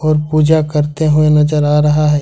पूजा करते हुए नजर आ रहा है।